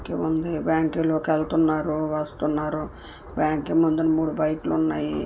కింది బ్యాంక్ లోకి వెళ్తున్నారు వస్తున్నారు బ్యాంకు ముందు మూడు బైకలు ఉన్నాయి.